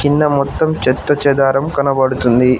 కింద మొత్తం చెత్త చెదారం కనబడుతుంది.